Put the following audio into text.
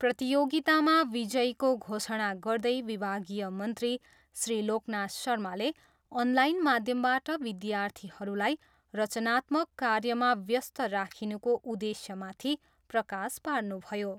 प्रतियोगितामा विजयीको घोषणा गर्दै विभागीय मन्त्री श्री लोकनाथ शर्माले अनलाइन माध्यमबाट विद्यार्थीहरूलाई रचनात्मक कार्यमा व्यस्त राखिनुको उद्देश्यमाथि प्रकाश पार्नुभयो।